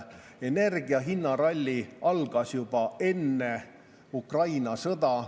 Energiahindade ralli algas juba enne Ukraina sõda.